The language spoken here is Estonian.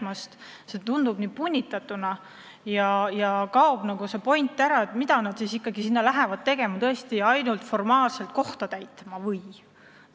Mõned valikud tunduvad punnitatuna ja point nagu kaob ära: mida nad ikkagi lähevad tegema, kas ainult formaalselt kohta täitma või?